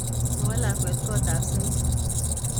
Kowo lakwet kotab sen'ge